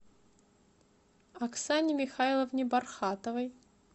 оксане михайловне бархатовой